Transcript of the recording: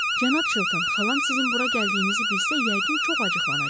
Cənab Çilton, xalam sizin bura gəldiyinizi bilsə, yəqin çox acıqlanacaq.